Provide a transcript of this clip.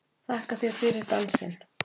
Þakka þér fyrir dansinn!